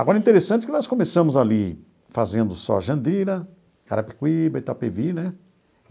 Agora, interessante que nós começamos ali fazendo só Jandira, Carapicuíba, Itapevi, né?